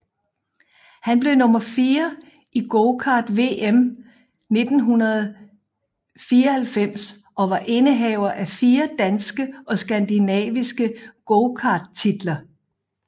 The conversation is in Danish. Han blev nummer 4 i gokart VM 1994 og var indehaver af 4 danske og skandinaviske gokarttitler